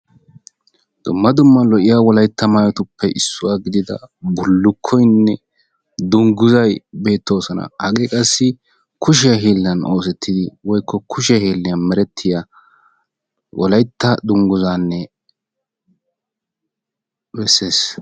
dumma dumma lo'iya wolaytta maayotuppe issuwa giddida danguzzay wolaytta wogaabaa keehippe bessess.